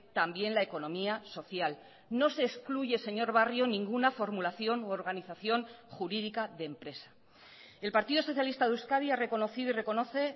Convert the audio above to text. también la economía social no se excluye señor barrio ninguna formulación u organización jurídica de empresa el partido socialista de euskadi ha reconocido y reconoce